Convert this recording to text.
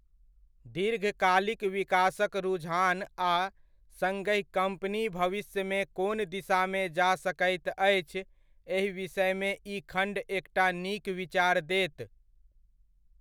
दीर्घकालिक विकासक रुझान आ सङ्गहि कम्पनी भविष्यमे कोन दिशामे जा सकैत अछि, एहि विषयमे ई खण्ड एकटा नीक विचार देत।